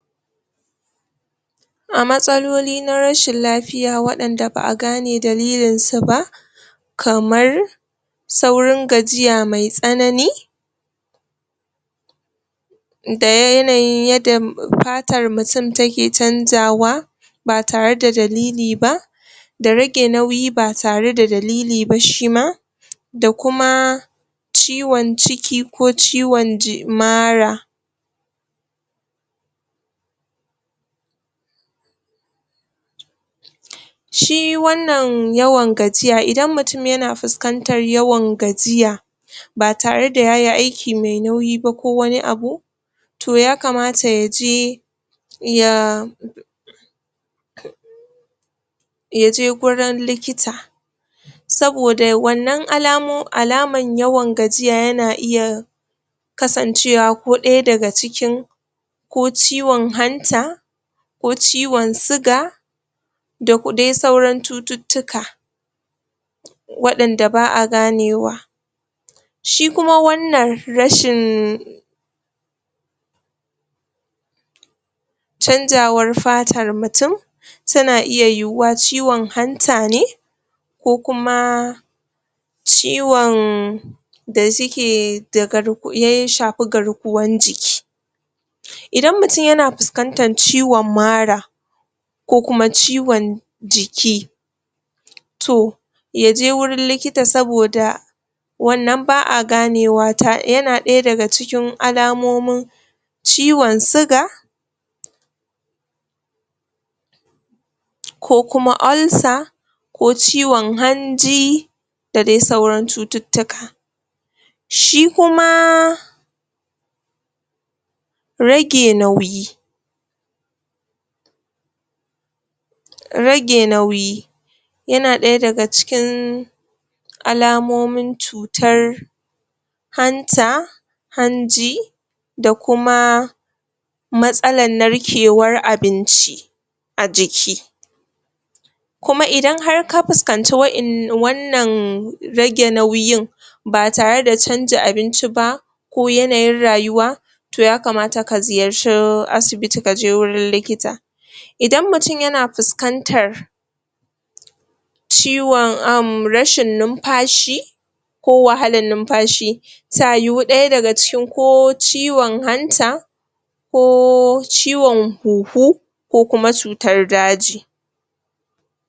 a matsaloli na rashin lafiya wadanda ba'a gane dalilin su ba kamar saurin gajiya mai tsanani da yanayin yanda fatar mutum yake canzawa ba tare da dalili ba da rage nauyi ba tare da dalili ba shima da kuma ciwon ciki ko ciwon mara shi wannnan yawan gajiya idan mutum yana fuskantar yawan gajiya ba tare da yayi aiki mai nauyi ba ko wani abu toh yakamata yaje ya yaje gurin likita saboda wannan alaman yawan gajiya yana iya kasancewa ko ɗaya daga cikin ko ciwon hanta ko ciwon sigar da dai sauran cututtuka wadanda ba'a ganewa shi kuma wannan rashin canjawar fartar mutum tana iya yiyuwa ciwon hanta ne ko kuma ciwon da suke ya shafe garkuwan jiki idan mutum yana fuskantar ciwon mara ko kuma ciwon jiki toh yaje wurin likita saboda wannan ba'a gane wa yana daya daga cikin alamomin ciwon sigar ko kuma ulcer ko ciwon hanji da dai sauran cututtuka shi kuma rage nauyi rage nauyi yana daya dag cikin alamomin cutar hanta hanji da kuma matsalan narkewan abinci a jiki kuma idan ka fuskance we'ennan wannan rage nauyin ba tare da canja abinci ba ko yanayin rayuwa toh ya kamata ka ziyarce asibiti kaje wurin likita idan mutum yana fuskantar ciwon um rashin numfashi ko wahalan numfashi ta yu ɗaya daga cikin ko ciwon hanta ko ciwon huhu ko kuma cutar daji